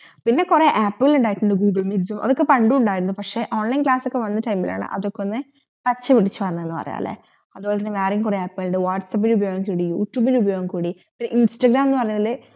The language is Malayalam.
പിന്നെ കൊറേ ആപ്പ് കൾ ഇണ്ടായിട്ടുണ്ട് ഗൂഗ്ലെമീറ്റ് അതൊക്കെ പണ്ടും പക്ഷെ online class ഒക്കെ വന്ന time ഇലാണ് അതൊക്കെ ഒന്ന് പച്ചപിടിച്ച വന്നെന്ന് പറയാം അതുപോലെ വാട്ട്സെപ് ഉപയോഗം കൂടി യൂട്യൂബ് ഉപയോഗം കൂടി ഇപ്പൊ ഇൻസ്റ്റാഗ്രാം എന്ന് പറഞ്ഞാല്